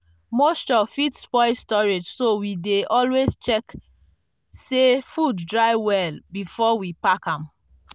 moisture fit spoil storage so we dey always check say food dry well before we pack am.